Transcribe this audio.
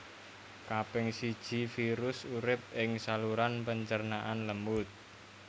Kaping siji virus urip ing saluran pencernaan lemut